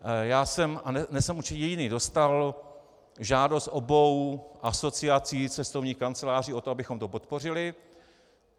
Já jsem, a nejsem určitě jediný, dostal žádost obou asociací cestovních kanceláří o to, abychom to podpořili.